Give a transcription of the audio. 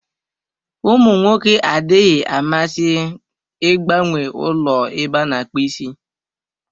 Ụmụ nwoke adịghị amasị ịgbanwe ụlọ ebe a na-akpụ isi.